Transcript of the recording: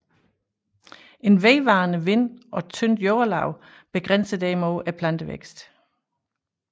En vedvarende vind og tyndt jordlag begrænser derimod plantevæksten